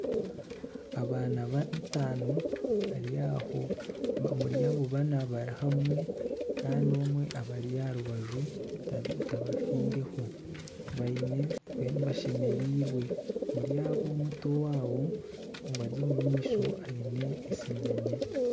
Abaana batano bari aho, omuri abo bana bari hamwe kandi omwe abari aha rubaju tabafiireho baine, mbwenu bashemereirwe. Omuri abo omuto waabo obari omu maisho aine eshinyanya.